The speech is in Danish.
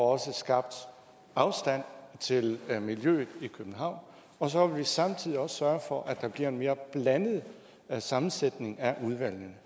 også skabt afstand til miljøet i københavn og så vil vi samtidig også sørge for at der bliver en mere blandet sammensætning af udvalgene